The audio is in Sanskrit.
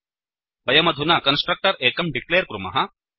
वयमधुना कन्स्ट्रक्टर् एकं डिक्लेर् कुर्मः